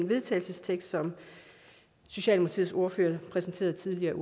vedtagelse som socialdemokratiets ordfører præsenterede tidligere